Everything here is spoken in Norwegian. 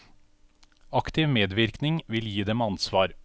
Aktiv medvirkning vil gi dem ansvar.